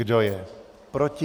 Kdo je proti?